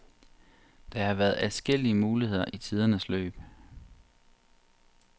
Der har været adskillige muligheder i tidernes løb.